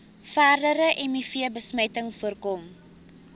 verdere mivbesmetting voorkom